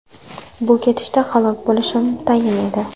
Bu ketishda halok bo‘lishim tayin edi.